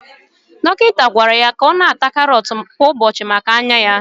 Dọkịta gwara ya na ata karọt kwa ụbọchị maka anya ya